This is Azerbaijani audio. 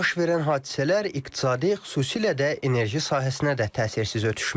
Baş verən hadisələr iqtisadi, xüsusilə də enerji sahəsinə də təsirsiz ötüşməyib.